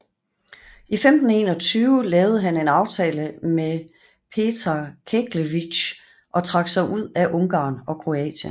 I 1521 lavede han en aftale med Petar Keglević og trak sig ud af Ungarn og Kroatien